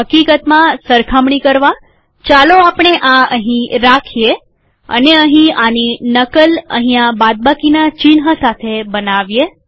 હકીકતમાં સરખામણી કરવાચાલો આપણે આ અહીં રાખીએ અને અહીં આની નકલ અહીંયા બાદબાકીના ચિહ્ન સાથે બનાવીએ